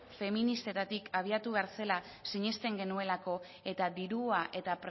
feministetatik abiatu behar zela sinesten genuelako eta dirua eta